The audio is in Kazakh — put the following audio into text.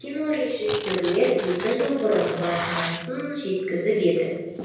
кинорежиссерлер екі жыл бұрын базынасын жеткізіп еді